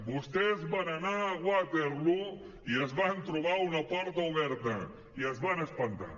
vostès van anar a waterloo i es van trobar una porta oberta i es van espantar